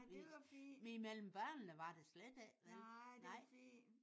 Nej det var fint. Nej det var fint